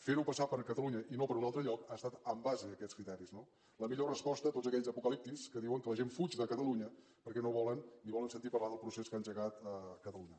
fer ho passar per catalunya i no per un altre lloc ha estat en base a aquests criteris no la millor resposta a tots aquells apocalíptics que diuen que la gent fuig de catalunya perquè no volen ni volen sentir a parlar del procés que ha engegat catalunya